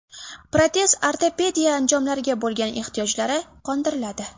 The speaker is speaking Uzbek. Protez-ortopediya anjomlariga bo‘lgan ehtiyojlari qondiriladi.